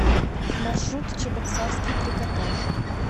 маршрут чебоксарский трикотаж